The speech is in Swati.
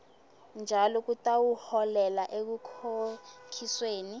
njalo kutawuholela ekukhokhisweni